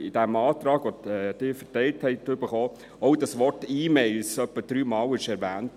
Im Antrag, der Ihnen ausgeteilt wurde, wurde das Wort «E-Mails» etwa dreimal erwähnt.